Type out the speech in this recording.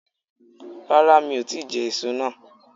Rárá mi o ti je èso náà